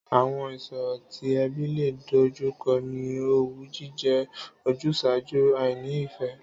Àwo̩n ìs̩òro tí e̩bí lè dojúko̩ ni owú jíje̩, ojús̩àájú, àìní-ìfé̩